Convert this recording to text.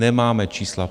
Nemáme čísla.